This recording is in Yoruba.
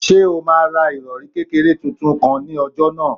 Ṣé o máa ra ìrọ̀rì kékeré tuntun kan ní ọjà náà?